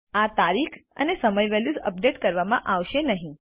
આ તારીખ અને સમય વેલ્યુઝ અપડેટ કરવામાં આવશે નહીં